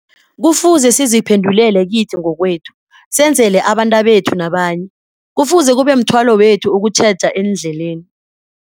Kufuze siziphendulele kithi ngokwethu, senzele abentabethu nabanye. Kufuze kube mthwalo wethu ukutjheja eendleleni.